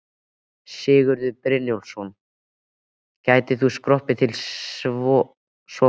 Sigurður Brynjólfsson: gætir þú skroppið til Sovét?